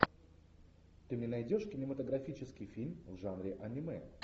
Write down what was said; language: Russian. ты мне найдешь кинематографический фильм в жанре аниме